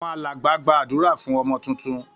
Àwọn alàgbà gba àdúrá fún ọmọ titun